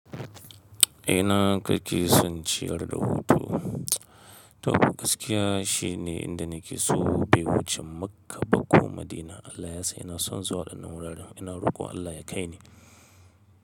Ina kake son ciyar da hutu. To gaskiya shi ne inda nake so bai wuce Makka ba ko Madina. Allah ya san ina son zuwa waɗannan wuraren ina rokon Allah ya kaini.